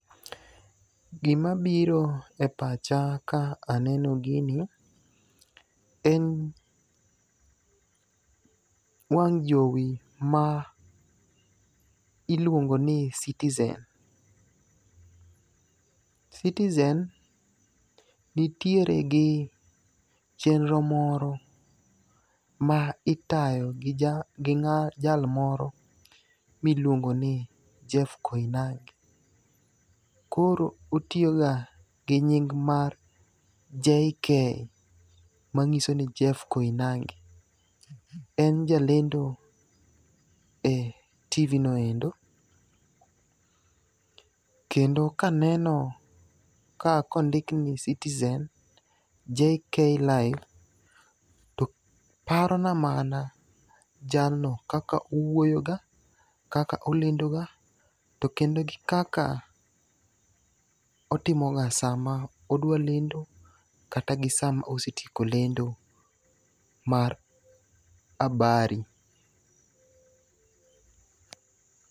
Gima biro e pacha ka aneno gini, en wang' jowi ma iluongo ni Citizen. Citizen nitiere gi chenro moro ma itayo gi ja ng'a jalmoro miliongo ni Jeff Koinange. Koro otiyoga gi nying mar JK manyiso ni Jeff Kionange. En jalendo e TV no endo. Kendo kaneno ka kondik ni Citizen JK Live to parona mana jalno kaka owuoyoga, kaka olendoga, to kendo kaka otimoga sama odwa lendo kata gi sa ma osetieko lendo mar abari.